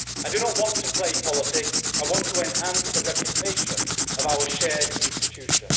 I do not want to play politics I want to enhance the reputation of our shared institution.